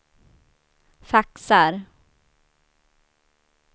faxar